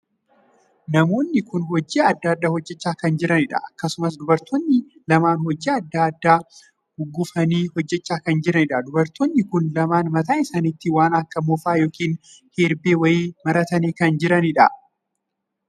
Namoonni kun hojii addaa addaa hojjechaa kan jiranidha. akkasumas dubartoonni kun lamaan hojii addaa addaa guggufanii hojjechaa kan jiranidha. dubartoonni kun lamaan mataa isaaniitti waan akka moofaa yookiin herbee wayii maratanii kan jiranidha.